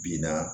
Binna